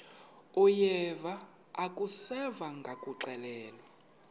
uyeva akuseva ngakuxelelwa